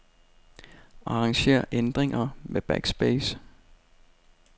Arranger ændringer med backspace.